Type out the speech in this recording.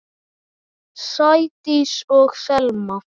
Sædís og Selma.